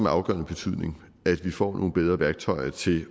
afgørende betydning at vi får nogle bedre værktøjer til